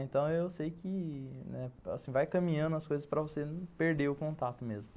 Então, eu sei que, né, vai caminhando as coisas para você perder o contato mesmo.